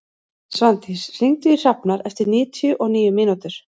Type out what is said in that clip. Svandís, hringdu í Hrafnar eftir níutíu og níu mínútur.